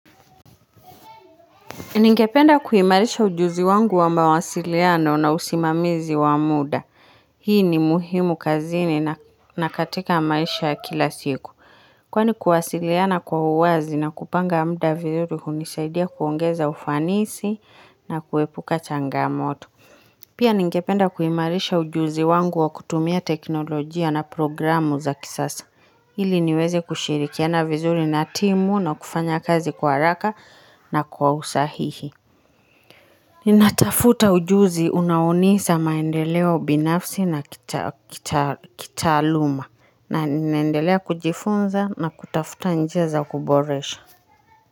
Ningependa kuimarisha ujuzi wangu wa mawasiliano na usimamizi wa muda. Hii ni muhimu kazini na katika maisha kila siku. Kwani kuwasiliana kwa uwazi na kupanga muda vizuri hunisaidia kuongeza ufanisi na kuepuka changamoto. Pia ningependa kuimarisha ujuzi wangu wa kutumia teknolojia na programu za kisasa. Ili niweze kushirikina vizuri na timu na kufanya kazi kwa haraka na kwa usahihi Ninatafuta ujuzi unaonipa maendeleo binafsi na kitaaluma na ninaendelea kujifunza na kutafuta njia za kuboresha.